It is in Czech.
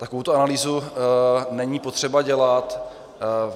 Takovouto analýzu není potřeba dělat.